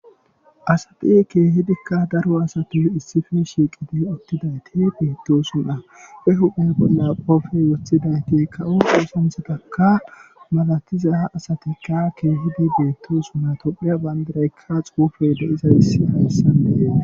asati keehidikka daro asati issife shiiqide uttidayti beettosunna e huphe bolla qoofey woththidayti kawo oosanthatakka malatiza ha asatikka keehidi beetto sunna topheya bayndiraykka xuufe de izays hayssanee